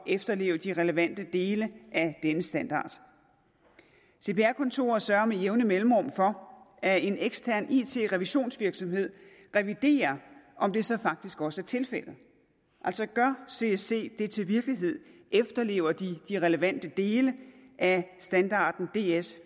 at efterleve de relevante dele af denne standard cpr kontoret sørger med jævne mellemrum for at en ekstern it revisionsvirksomhed reviderer om det så faktisk også er tilfældet altså gør csc det til virkelighed efterlever de de relevante dele af standarden ds